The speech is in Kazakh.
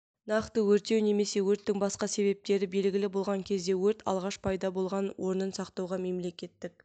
нақты өртеу немесе өрттің басқа себептері белгілі болған кезде өрт алғаш пайда болған орынын сақтауға мемлекеттік